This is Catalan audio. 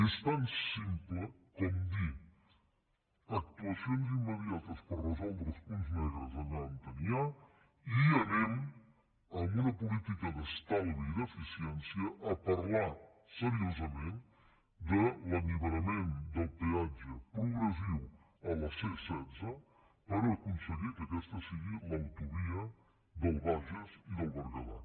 és tan simple com dir actuacions immediates per resoldre els punts negres allà on n’hi ha i anem amb una política d’estalvi i d’eficiència a parlar seriosament de l’alliberament del peatge progressiu a la c setze per aconseguir que aquesta sigui l’autovia del bages i del berguedà